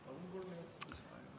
Palun kolm minutit lisaks.